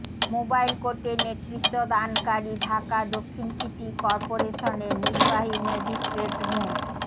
mobile কোর্টের নেতৃত্বদানকারী ঢাকা দক্ষিণ সিটি করপোরেশনের নির্বাহী ম্যাজিস্ট্রেট মো